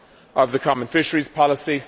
of the common fisheries policy.